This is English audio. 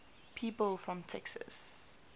people from texas